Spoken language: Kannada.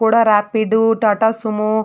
ಕೋಡಾ ರಾಪಿಡ್ ಟಾಟಾ ಸುಮೋ .